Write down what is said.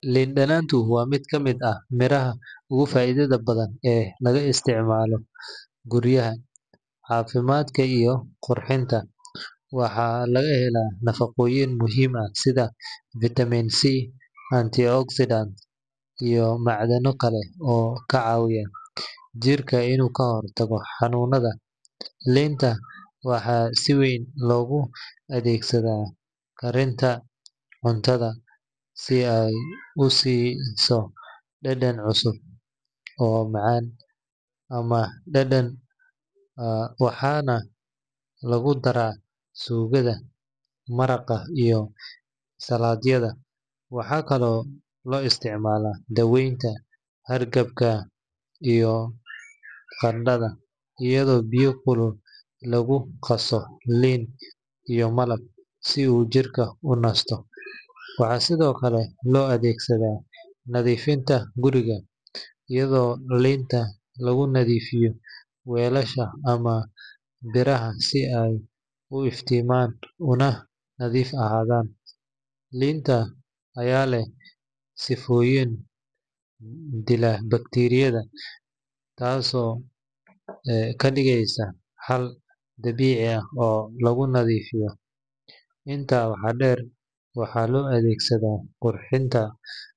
Liin dhanaantu waa mid ka mid ah miraha ugu faa’iidada badan ee laga isticmaalo guryaha, caafimaadka, iyo qurxinta. Waxaa laga helaa nafaqooyin muhiim ah sida vitamin C, antioxidants, iyo macdano kale oo ka caawiya jirka inuu ka hortago xanuunnada. Liinta waxaa si weyn loogu adeegsadaa karinta cuntada si ay u siiso dhadhan cusub oo macaan ama dhanaan, waxaana lagu daraa suugada, maraqa, iyo saladhyada. Waxaa kaloo loo isticmaalaa daweynta hargabka iyo qandhada, iyadoo biyo kulul lagu qaso liin iyo malab si uu jirka u nasto. Waxaa sidoo kale loo adeegsadaa nadiifinta guriga, iyadoo liinta lagu nadiifiyo weelasha ama biraha si ay u iftiimaan una nadiif ahaadaan. Liinta ayaa leh sifooyin dila bakteeriyada, taasoo ka dhigaysa xal dabiici ah oo lagu nadiifiyo. Intaa waxaa dheer, waxaa loo adeegsadaa quruxda